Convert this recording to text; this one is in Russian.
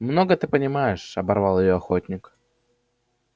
много ты понимаешь оборвал её охотник